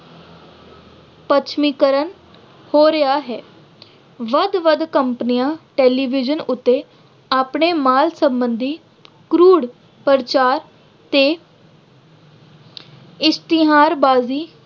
ਪੱਛਮੀਕਰਨ ਹੋ ਰਿਹਾ ਹੈ। ਵੱਧ-ਵੱਧ companies, television ਉੱਤੇ ਆਪਣੇ ਮਾਲ ਸੰਬੰਧੀ ਕਰੂੜ ਪ੍ਰਚਾਰ ਤੇ ਇਸ਼ਤਿਹਾਰਬਾਜ਼ੀ